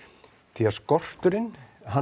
því að skorturinn